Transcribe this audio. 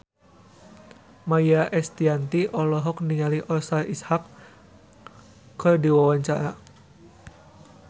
Maia Estianty olohok ningali Oscar Isaac keur diwawancara